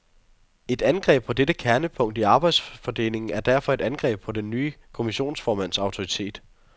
Et angreb på dette kernepunkt i arbejdsfordelingen er derfor et angreb på den nye kommissionsformands autoritet.